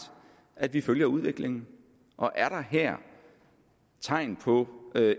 at vi følger udviklingen og er der her tegn på